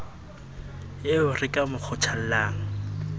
eo re ka mo kgothollang